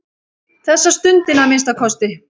Þessa stundina að minnsta kosti.